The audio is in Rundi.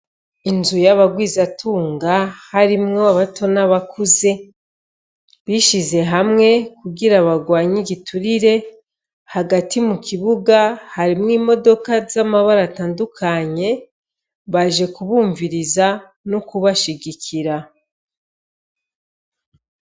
Inzu y'abagwizatunga harimwo abato n'abakuze, bishize hamwe kugira barwanye igiturire, hagati mu kibuga harimwo imodoka z'amabara atandukanye, baje kubumviriza no kubashigikira.